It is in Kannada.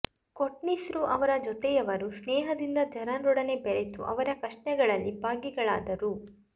ಕೊಟ್ನೀಸ್ರೂ ಅವರ ಜೊತೆಯವರೂ ಸ್ನೇಹದಿಂದ ಜನರೊಡನೆ ಬೆರೆತು ಅವರ ಕಷ್ಟಗಳಲ್ಲಿ ಭಾಗಿಗಳಾದರು